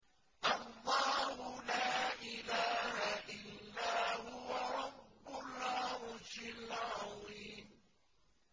اللَّهُ لَا إِلَٰهَ إِلَّا هُوَ رَبُّ الْعَرْشِ الْعَظِيمِ ۩